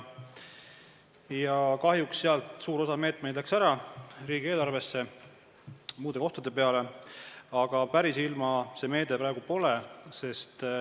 Kahjuks suur osa selle meetme raha otsustati riigieelarvest kulutada muudeks asjadeks, aga päris ilma see meede praegu pole.